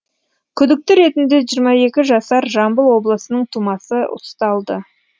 күдікті ретінде жиырма екі жасар жамбыл облысының тумасы ұсталды